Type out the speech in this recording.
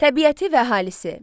Təbiəti və əhalisi.